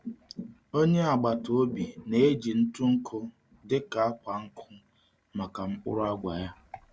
Onye agbata obi na-eji ntụ nkụ dị ka akwa nkụ maka mkpụrụ agwa ya.